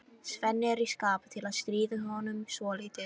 Svenni er í skapi til að stríða honum svolítið.